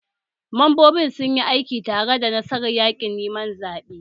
Membobin sun yi aiki tare don nasarar yaƙin neman zaɓen